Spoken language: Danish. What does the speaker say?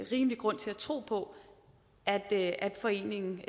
rimelig grund til at tro på at at foreningen